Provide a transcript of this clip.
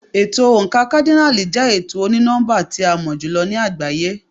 Ètò oǹkà kádínààlì jẹ́ ètò oní nọ́mbà tí a mọ̀ jù lọ ní àgbáyé.